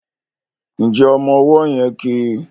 Njé ọmọ ọwó yen kí?